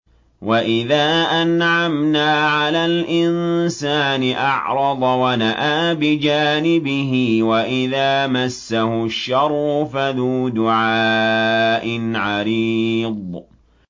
وَإِذَا أَنْعَمْنَا عَلَى الْإِنسَانِ أَعْرَضَ وَنَأَىٰ بِجَانِبِهِ وَإِذَا مَسَّهُ الشَّرُّ فَذُو دُعَاءٍ عَرِيضٍ